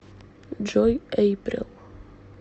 джой эйприл